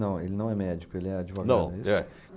Não, ele não é médico, ele é advogado. Não, é